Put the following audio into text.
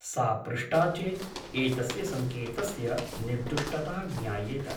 सा पृष्टा चेत् एतस्य सङ्केतस्य निर्दुष्टता ज्ञायेत ।